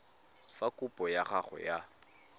fa kopo ya gago ya